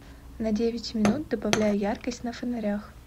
на девять минут добавляй яркость на фонарях